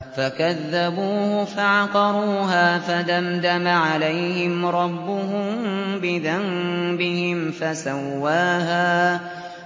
فَكَذَّبُوهُ فَعَقَرُوهَا فَدَمْدَمَ عَلَيْهِمْ رَبُّهُم بِذَنبِهِمْ فَسَوَّاهَا